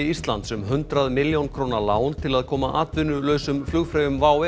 Íslands um hundrað milljón króna lán til að koma atvinnulausum flugfreyjum WOW